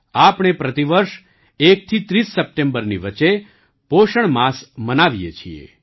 આપણે પ્રતિ વર્ષ ૧થી ૩૦ સપ્ટેમ્બરની વચ્ચે પોષણ માસ મનાવીએ છીએ